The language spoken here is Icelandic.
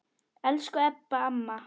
Elsku Ebba amma.